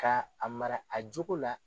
Ka a mara a jogo la